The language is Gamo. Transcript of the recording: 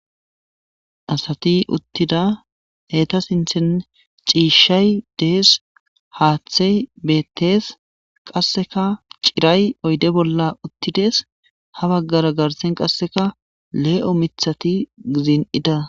Asati uttida heta sinthen ciishshay dees haaththey beettes qasseka ciray oyde bolla uttides ha baggara garsen qasseka lee'o mithati gizin'ida.